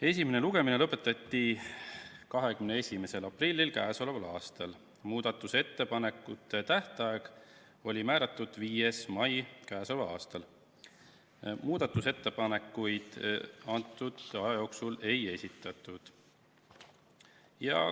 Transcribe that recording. Esimene lugemine lõpetati 21. aprillil k.a, muudatusettepanekute tähtaeg oli määratud 5. maile k.a. Muudatusettepanekuid antud aja jooksul ei esitatud.